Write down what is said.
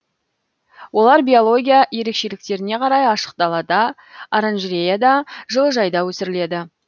олар биология ерекшеліктеріне қарай ашық далада оранжереяда жылыжайда өсіріледі